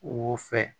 U fɛ